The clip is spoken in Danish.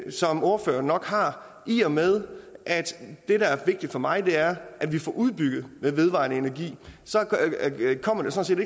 som ordføreren nok har i og med at det der er vigtigt for mig er at vi får udbygget med vedvarende energi